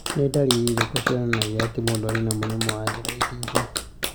Nĩ ndariri irĩkũ cionanagia atĩ mũndũ arĩ na mũrimũ wa Oral submucous fibrosis?